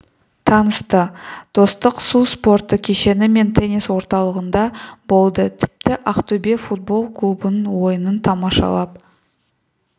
танысты достық су спорты кешені мен теннис орталығында болды тіпті ақтөбе футбол клубының ойынын тамашалап